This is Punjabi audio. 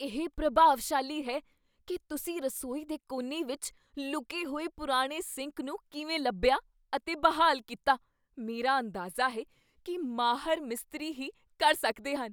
ਇਹ ਪ੍ਰਭਾਵਸ਼ਾਲੀ ਹੈ ਕੀ ਤੁਸੀਂ ਰਸੋਈ ਦੇ ਕੋਨੇ ਵਿੱਚ ਲੁਕੇ ਹੋਏ ਪੁਰਾਣੇ ਸਿੰਕ ਨੂੰ ਕਿਵੇਂ ਲੱਭਿਆ ਅਤੇ ਬਹਾਲ ਕੀਤਾ। ਮੇਰਾ ਅੰਦਾਜ਼ਾ ਹੈ ਕੀ ਮਾਹਰ ਮਿਸਤਰੀ ਹੀ ਕਰ ਸਕਦੇ ਹਨ।